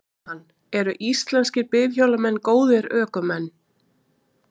Jóhann: Eru íslenskir bifhjólamenn góðir ökumenn?